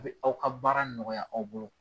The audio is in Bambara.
O bɛ aw ka baara nɔgɔya aw bolo.